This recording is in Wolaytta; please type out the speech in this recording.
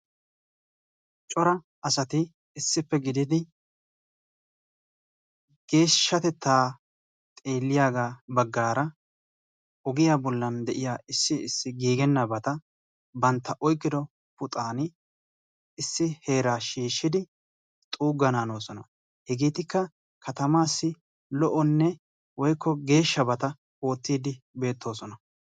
Cora asaati issipe gididi geeshshatetta xeeliyaga baggara ogiya bollan deiya issi issi giggenabati bantta oyqqido puuxani issi heeraa shiishidi xuugana hanosona. Hegetikka kattamasi lo'onee woykko geeshshabata oottidi beetosona..